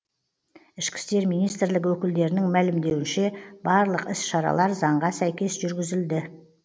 ішкі істер министрлігі өкілдерінің мәлімдеуінше барлық іс шаралар заңға сәйкес жүргізілді